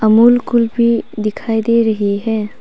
अमूल कुल्फी दिखाई दे रही है।